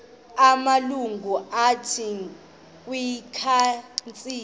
amalungu athile kwikhansile